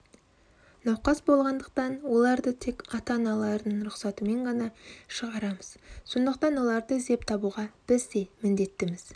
науқас болғандықтан оларды тек ата-аналарының рұқсатымен ғана шығарамыз сондықтан оларды іздеп табуға біз де міндеттіміз